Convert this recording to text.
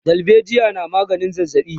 dalbejiya na maganin zazzabi